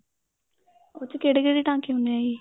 ਉਸ ਚ ਕਿਹੜੇ ਕਿਹੜੇ ਟਾਂਕੇ ਹੁੰਨੇ ਏ ਜੀ